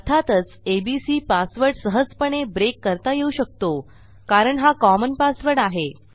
अर्थातच ABC password सहजपणे break करता येऊ शकतो कारण हा कॉमन पासवर्ड आहे